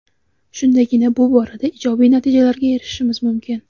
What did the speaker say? Shundagina bu borada ijobiy natijalarga erishishimiz mumkin.